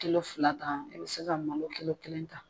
fila ta i bɛ se ka malo kelen ta.